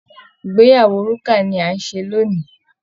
ìgbeyàwó Rukà ni à ń ṣe lónìí